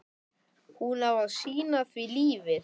Hún á að sýna því lífið.